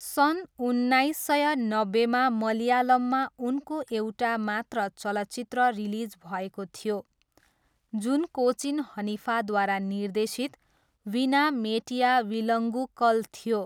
सन् उन्नाइस सय नब्बेमा मलयालममा उनको एउटा मात्र चलचित्र रिलिज भएको थियो, जुन कोचिन हनिफाद्वारा निर्देशित विना मेटिया विलङ्गुकल थियो।